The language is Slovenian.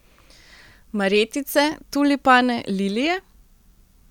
Marjetice, tulipane, lilije?